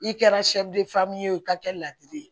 I kɛra ye o ka kɛ ladiri ye